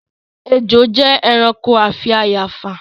Ejò jẹ́ ẹranko afi àyààfà